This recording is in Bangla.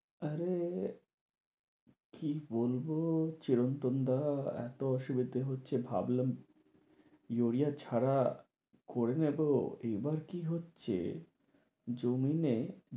আরে আরে কি বলবো চিরন্তন দা এতো অসুবিধা হচ্ছে ভাবলাম ইউরিয়া ছাড়া করে নেবো এবার কি হচ্ছে জমিন এ